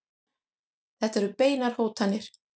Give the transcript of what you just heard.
Þetta eru beinar hótanir.